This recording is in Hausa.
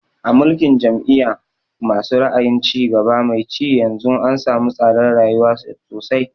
A mulkin jam'iya ma su ra'ayin cigaba mai ci yanzu an samu tsadar rayuwa sosai